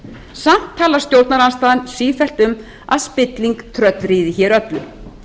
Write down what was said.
samt talar stjórnarandstaðan sífellt um að spilling tröllríði hér öllu